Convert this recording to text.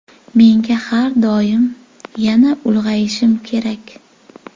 Menga har doim ‘Yana ulg‘ayishim kerak.